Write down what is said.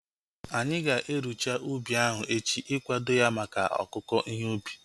Anyị ga-erucha ubi ahu echi ikwado ya maka ọkụku ihe ubi